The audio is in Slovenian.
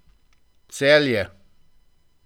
Celje.